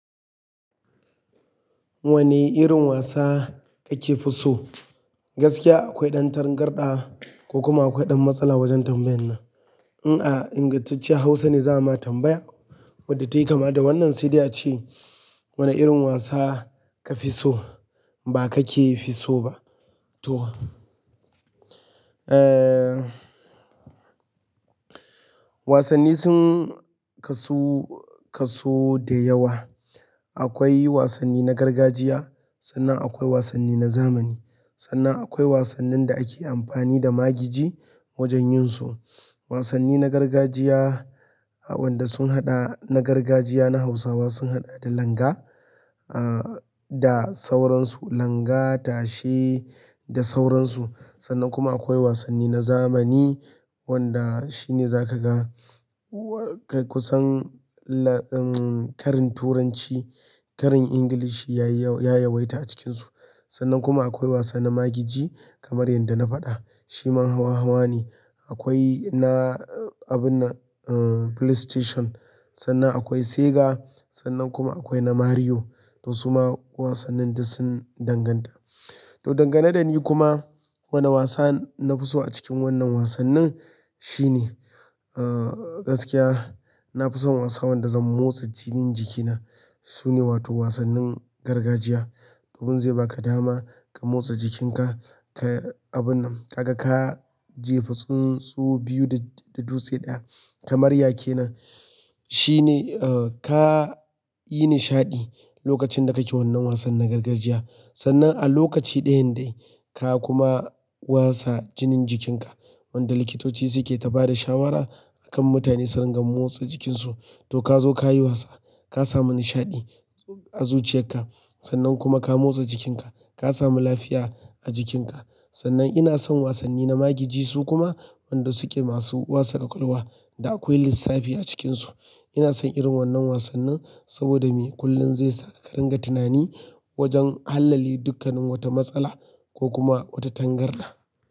Wane irin wasa kake fi so? Gaskiya akwai ɗan tangarɗa ko kuma akwai ɗan matsala wajen tambayan nan. In a ingantacce Hausa ne za mu tambaya wadda ta yi kama da wannan sai da ya ce, wane irin wasa ka fi so ba ka ke fi so ba to. Eh, wasanni sun kasu, kasu da yawa. Akwai wasanni na gargajiya sannan akwai wasanni na zamani. Sannan akwai wasannin da ake amfani da magiji wajen yin su. Wasanni na gargajiya wanda sun haɗa na gargajiya na Hausawa sun haɗa da langa, ah, da sauransu. Langa, tashe da sauransu. Sannan kuma akwai wasanni na zamani wanda shi ne za ka ga kusan, um, ƙarin Turanci, ƙarin Ingilishi ya yi, ya yawaita a cikinsu. Sannan kuma akwai wasanni na magiji kamar yadda na faɗa shi ma hawa-hawa ne. Akwai na abun nan, um, PlayStation, sannan akwai Sega, sannan kuma akwai na Mario to su ma wasannin da sun danganta. To, dangane da ni kuma wanne wasa na fi so a cikin wannan wasannin shi ne, ah, gaskiya na fi son wasa wanda zan motsa jinin jikina su ne wato wasannin gargajiya. Dan zai baka dama ka motsa jikinka ka abun nan ka ga ka jefa tsuntsu biyu da, da dutse ɗaya kamar yake nan. Shi ne, ah, ka yi nishaɗi lokacin da kake wannan wasan na gargajiya. Sannan a lokaci ɗayan dai ka kuma wasa jinin jikinka wanda likitoci su ke ta ba da shawara akan mutane su ringa motsa jikinsu. To ka zo ka yi wasa, ka samu nishaɗi a zuciyarka sannan kuma ka motsa jikinka, ka samu lafiya a jikinka. Sannan ina son wasanni na magiji su kuma wanda su ke masu wasa ƙaƙalwa da akwai lissafi a cikinsu. Ina son irin wannan wasannin saboda me? Kullun zaisa ka ringa tunani wajan hallale duk wata matsala ko kuma wata tan garda.